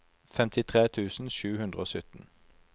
femtitre tusen sju hundre og sytten